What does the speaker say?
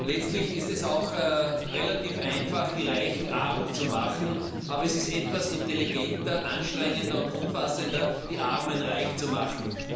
Es ist relativ einfach, die Reichen arm zu machen, aber es ist etwas intelligenter, anstrengender und umfassender, die Armen reich zu machen.